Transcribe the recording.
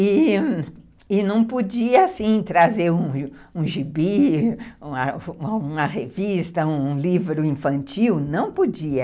E e não podia assim, trazer um gibi, uma revista, um livro infantil, não podia.